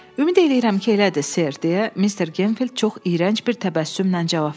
Ümid eləyirəm ki, elədir, ser, deyə Mr. Genfield çox iyrənc bir təbəssümlə cavab verdi.